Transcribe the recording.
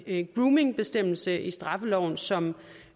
en groomingbestemmelse i straffeloven som